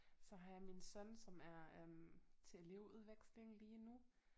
Så har jeg min søn som er øh til elevudveksling lige nu